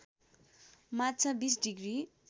माछा २० डिग्री